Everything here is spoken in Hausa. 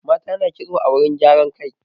Mata na ƙitso a wurin gyaran kai.